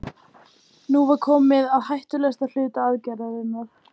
Nú var komið að hættulegasta hluta aðgerðarinnar.